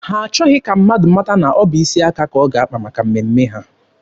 Ha achọghị ka mmadụ mata na ọ bụ isi aka ka ọ ga-akpa maka mmemme ha.